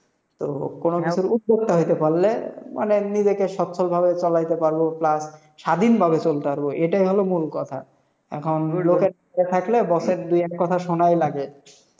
তো কোনো ক্ষেত্রে উদ্যোক্তা হইতে পারলে, মানে নিজেকে স্বচ্ছলভাবে চালাইতে পারবো plus স্বাধীনভাবে চলতে পারবো, এটাই হলো মূল কথা। এখন লোকের থাকলে boss এর দুই এক কথা শোনাই লাগে।